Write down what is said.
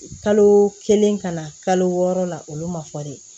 Kalo kelen ka na kalo wɔɔrɔ la olu ma fɔ de